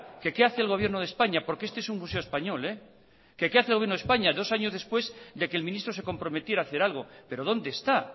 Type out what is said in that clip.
que qué hace el gobierno de españa porque este es un museo español que qué hace el gobierno de españa dos años después de que el ministro se comprometiera a hacer algo pero dónde está